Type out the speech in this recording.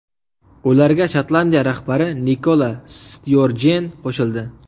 Ularga Shotlandiya rahbari Nikola Styorjen qo‘shildi.